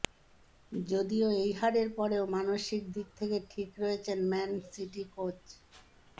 যদিও এই হারের পরেও মানসিক দিক থেকে ঠিক রয়েছেন ম্যান সিটি কোচ